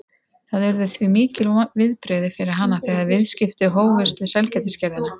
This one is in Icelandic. Það urðu því mikil viðbrigði fyrir hana þegar viðskipti hófust við sælgætisgerðina